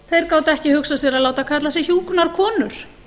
þeir gátu ekki hugsað sér að láta kalla sig hjúkrunarkonur